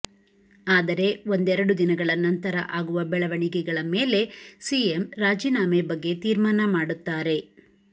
ಆದರೆ ಒಂದೆರಡು ದಿನಗಳ ನಂತರ ಆಗುವ ಬೆಳವಣಿಗೆಳ ಮೇಲೆ ಸಿಎಂ ರಾಜೀನಾಮೆ ಬಗ್ಗೆ ತೀರ್ಮಾನ ಮಾಡುತ್ತಾರೆ